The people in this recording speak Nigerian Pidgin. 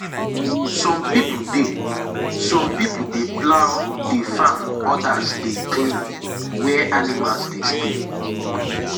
some people dey some people dey plough the farm others dey clean where animals dey stay.